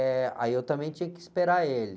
Eh, aí eu também tinha que esperar ele.